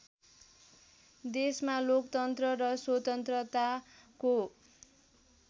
देशमा लोकतन्त्र र स्वतन्त्रताको